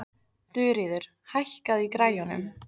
Þuríður, hækkaðu í græjunum.